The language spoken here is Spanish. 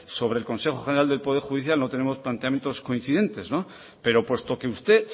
sobre el consejo general del poder judicial no tenemos planteamientos coincidentes pero puesto que usted